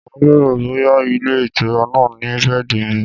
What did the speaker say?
Màá bèrè bóyá ilé-ìtura náà ni bẹ́ẹ̀dì míì.